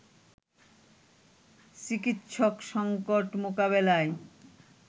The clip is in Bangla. চিকিৎসক সংকট মোকাবেলায়